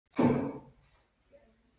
En hvað ertu að gera þarna?